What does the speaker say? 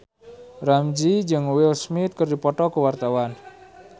Ramzy jeung Will Smith keur dipoto ku wartawan